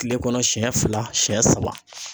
Kile kɔnɔ siɲɛ fila siɲɛ saba.